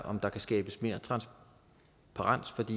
om der kan skabes mere transparens